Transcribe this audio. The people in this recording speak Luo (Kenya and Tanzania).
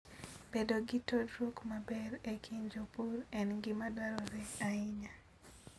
Bedo gi tudruok maber e kind jopur en gima dwarore ahinya.